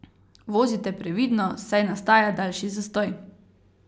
Vozite previdno, saj nastaja daljši zastoj.